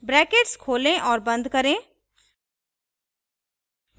brackets खोलें और बंद करें